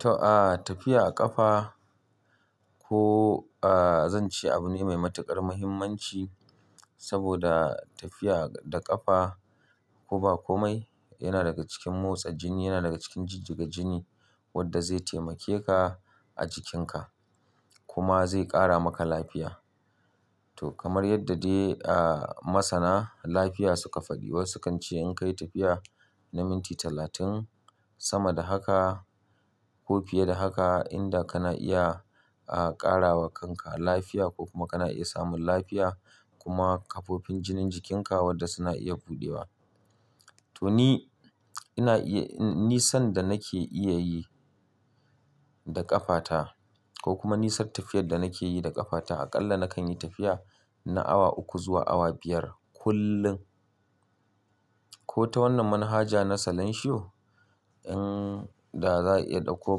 To, a tafiya a ƙafa, ko ah zan ce abu ne mai matuƙar muhimmanci, saboda tafiya da ƙafa, ko ba komai, yana daga cikin motsa jini, yana daga cikin jijjiga jini wadda zai taimake ka a jikinka kuma zai ƙara maka lafiya. To kamar yadda dai ah, masanan lafiya suka faɗi, wasu kan ce in ka yi tafiya na minti talatin, sama da haka, ko fiye da haka, inda kana iya aa ƙarawa kanka lafiya, ko kuma kana iya samun lafiya kuma ƙafofin jinin jikinka wadda suna iya buɗewa. To ni, ina iya, ni san da nake iya yi da ƙafata, ko kuma nisan tafiyar da nake yi da ƙafata, aƙalla nakan yi tafiya, na awa uku zuwa awa biyar kullum. Ko ta wannan manhaja na Salanshiyo, in da za'a iya ɗauko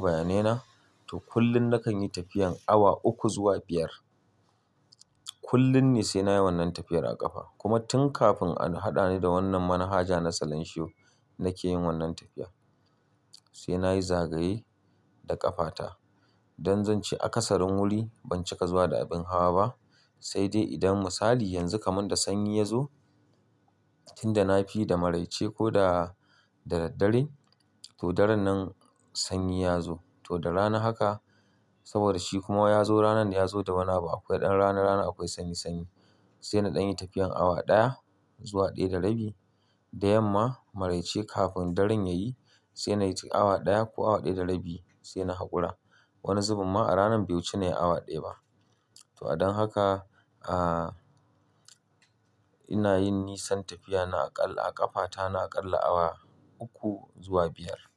bayanai na, to kullum nakan yi tafiyan awa uku zuwa biyar. Kullum ne sai nayi wannan tafiyar a ƙafa, kuma tun kafin a haɗa ni da wannan manhaja na Salanshiyo, nake yin wannan tafiya. Sai nayi zagaye, da ƙafata don zan ce a ƙasarin wuri, ban cika zuwa da abin hawa ba. Sai dai idan misali yanzu kaman da sanyi ya zo, tun da na fi da maraice ko da daraddare, to daren nan sanyi ya zo. To da rana haka, saboda shi kuma ya zo ranar da ya zo da wani abu, akwai ɗan rana rana akwai sanyi sanyi. Sai na ɗan yi tafiyan awa ɗaya, zuwa ɗaya da rabi, da yamma maraice kafin daren ya yi, sai nayi awa ɗaya ko awa ɗaya da rabi, sai na haƙura. Wani zuben ma, a rana bai wuce nayi awa ɗaya ba. To a don haka aa ina yin nisan tafiya na aƙalla a ƙafata na aƙalla awa uku zuwa biyar.